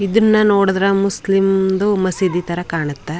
ಇದನ್ನು ನೋಡಿದ್ರೆ ಮುಸ್ಲಿಂ ದು ಮಸೀದಿ ತರ ಕಾಣುತ್ತೆ.